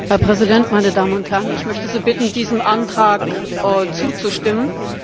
Herr Präsident, meine Damen und Herren, ich möchte Sie bitten, diesem Antrag zuzustimmen.